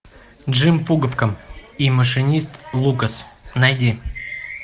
джим пуговка и машинист лукас найди